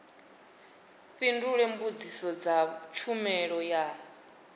fhindule mbudziso dza tshumelo ya